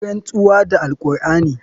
Ka yi rantsuwa da alqur'ani.